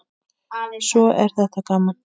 Svo er þetta gaman.